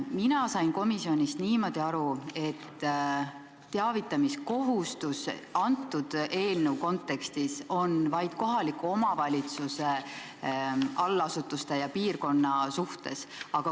Mina sain komisjonis niimoodi aru, et teavitamiskohustus on selle eelnõu kontekstis vaid kohaliku omavalitsuse allasutuse ja piirkonna suhtes.